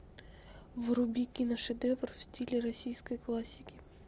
вруби киношедевр в стиле российской классики